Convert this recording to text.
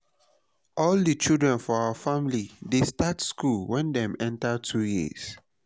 all di children for our family dey start school wen dem enter 2 years